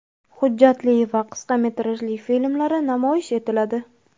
hujjatli va qisqa metrajli filmlari namoyish etiladi.